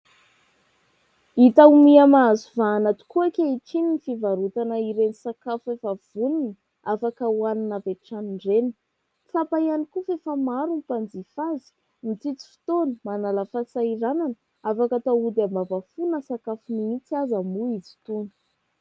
Hita ho miha mahazo vahana tokoa ankehitriny ny fivarotana ireny sakafo efa vonona afaka hoanina avy hatrany ireny. Tsapa ihany koa fa efa maro ny mpanjifa azy, mitsitsy fotoana, manala fahasahiranana, afaka atao ody ambavafo na sakafo mihitsy aza moa izy itony.